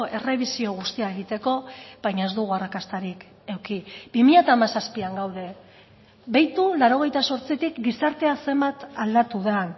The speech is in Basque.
errebisio guztia egiteko baina ez dugu arrakastarik eduki bi mila hamazazpian gaude beitu laurogeita zortzitik gizartea zenbat aldatu den